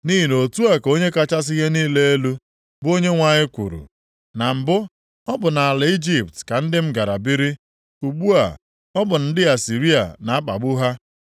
Nʼihi na otu a ka Onye kachasị ihe niile elu, bụ Onyenwe anyị kwuru, “Na mbụ, ọ bụ nʼala Ijipt ka ndị m gara biri, ugbu a, ọ bụ ndị Asịrịa na-akpagbu ha.